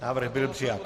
Návrh byl přijat.